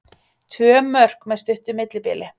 Tvö mörk með stuttu millibili